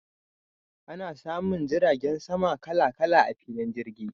Ana samun jiragen sama kala kala a filin jirgi.